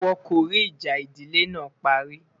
wón kò rí ìjà ìdílé nà parí